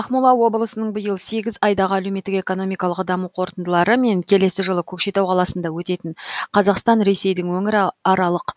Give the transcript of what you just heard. ақмола облысының биыл сегіз айдағы әлеуметтік экономикалық даму қорытындылары мен келесі жылы көкшетау қаласында өтетін қазақстан ресейдің өңіраралық